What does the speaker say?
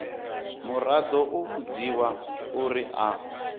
muraḓo u vhudziwa uri a